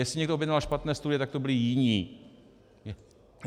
Jestli někdo objednal špatné služby, tak to byli jiní.